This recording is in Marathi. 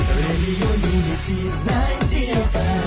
radio unity 90 F